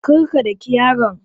Kar ka daki yaron!